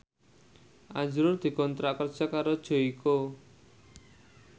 azrul dikontrak kerja karo Joyko